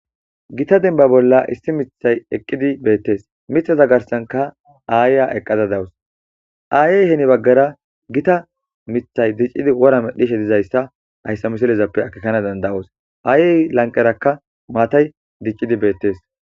gita denba bolla issi mithay eqqidi beettees mitha za garsanka aayya eqqada dawus aayey heni baggara gita mithay diccidi wora medhishe dizayssa ayssa misilezappe akekana danda7oos aayey lanqerakka maatay diccidi beettees